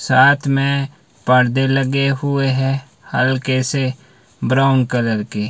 साथ में पर्दे लगे हुए हैं हल्के से ब्राउन कलर के।